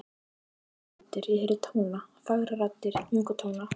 Ég heyrði raddir, ég heyrði tóna, fagrar raddir, mjúka tóna.